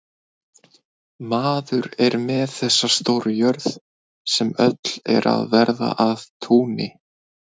Maður er með þessa stóru jörð, sem öll er að verða að túni.